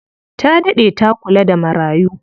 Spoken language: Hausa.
Ta daɗe ta kula da marayu.